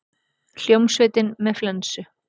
Hljómsveitin með flensu